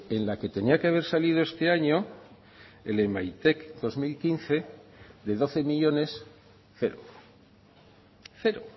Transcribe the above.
en la que tenía que haber salido este año el emaitek dos mil quince de doce millónes cero cero